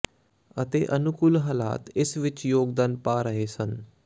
ਅਤੇ ਅਨੁਕੂਲ ਹਾਲਾਤ ਇਸ ਵਿੱਚ ਯੋਗਦਾਨ ਪਾ ਰਹੇ ਸਨ